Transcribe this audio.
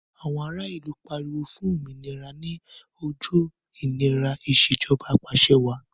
Àwọn ara ìlú pariwo fún òmìnira ní ojú ìnira Ìṣèjọba Ap'àṣẹwàá